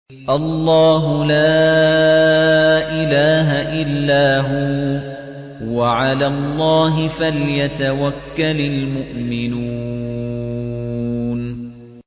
اللَّهُ لَا إِلَٰهَ إِلَّا هُوَ ۚ وَعَلَى اللَّهِ فَلْيَتَوَكَّلِ الْمُؤْمِنُونَ